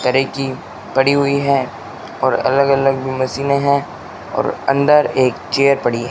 तरह कि पड़ी हुई है और अलग अलग मशीनें है और अंदर एक चेयर पड़ी --